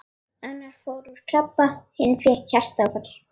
Annar fór úr krabba, hinn fékk hjartaáfall.